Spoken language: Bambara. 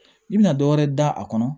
I bɛna dɔ wɛrɛ da a kɔnɔ